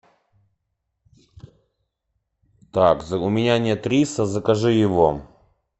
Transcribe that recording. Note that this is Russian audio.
так у меня нет риса закажи его